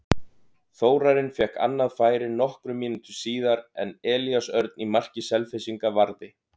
Þórarinn fékk annað færi nokkrum mínútum síðar en Elías Örn í marki Selfyssinga varði.